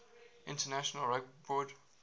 international rugby board